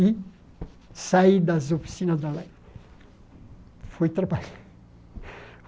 E saí das oficinas da light. Fui trabalhar